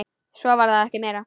Svo var það ekki meira.